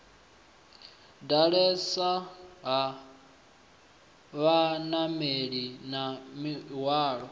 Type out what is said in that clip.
ḓalesa ha vhanameli na mihwalo